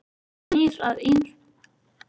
Hún snýr að ýmsu sem